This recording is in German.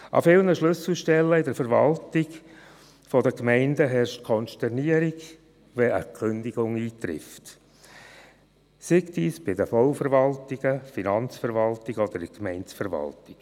An vielen Schlüsselstellen in der Verwaltung der Gemeinden herrscht Konsternation, wenn eine Kündigung eintrifft, sei dies bei den Bauverwaltungen, Finanzverwaltungen oder in der Gemeindeverwaltung.